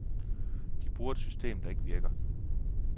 De bruger et system, der ikke virker.